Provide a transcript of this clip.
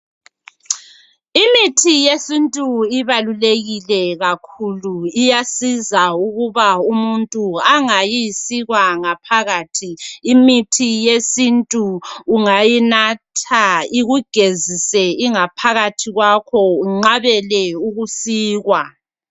Imithi yesintu ibalulekile kakhulu iyasiza, ukuba umuntu angayisikwa ngaphakathi. Imithi yesintu ungayinatha ikugezise ingaphakathi kwakho unqabele ukuyasikwa.